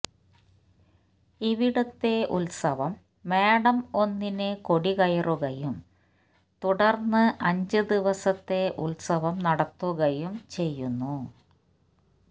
ഇവിടത്തെ ഉത്സവം മേടം ഒന്നിന് കൊടികയറുകയും തുടർന്ന് അഞ്ചു ദിവസത്തെ ഉത്സവം നടത്തുകയും ചെയ്യുന്നു